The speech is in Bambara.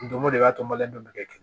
Don go de y'a to n bali don bɛɛ kɛ